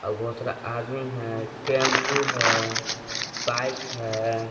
। बहुत सारा आदमीन है टेंपू है बाइक है